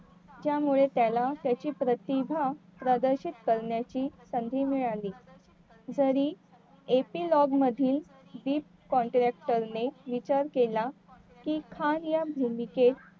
त्यामुळे त्याला त्याची प्रतिभा प्रदर्शित करण्याची संधी मिळाली जरी मधील ने विचार केला कि या भूमिकेत